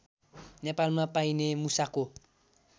नेपालमा पाइने मुसाको